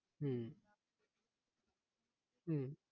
হম হম